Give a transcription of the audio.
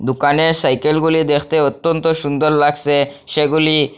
দোকানে সাইকেলগুলি দেখতে অত্যন্ত সুন্দর লাগসে সেগুলি--